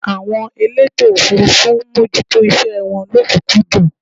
àwọn elétò òfurufú ń mójútó iṣẹ wọn lọ́kùnkúndùn